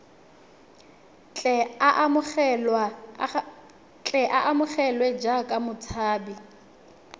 tle a amogelwe jaaka motshabi